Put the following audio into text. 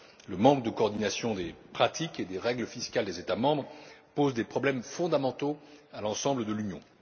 Le manque de coordination des pratiques et des règles fiscales des États membres pose des problèmes fondamentaux à l'ensemble de l'Union.